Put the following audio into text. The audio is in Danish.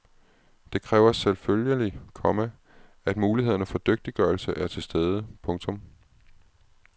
Det kræver selvfølgelig, komma at mulighederne for dygtiggørelse er til stede. punktum